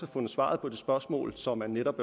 fundet svaret på det spørgsmål som han netop